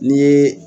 Ni ye